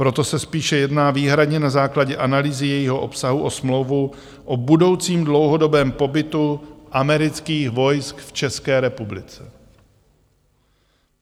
Proto se spíše jedná výhradně na základě analýzy jejího obsahu o smlouvu o budoucím dlouhodobém pobytu amerických vojsk v České republice.